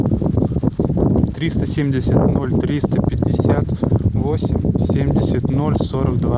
триста семьдесят ноль триста пятьдесят восемь семьдесят ноль сорок два